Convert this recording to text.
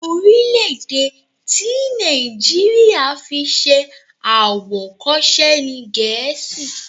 Orílẹ̀-èdè tí Nàìjíríà fi ṣe àwòkọ́ṣe ni Gẹ̀ẹ́sì.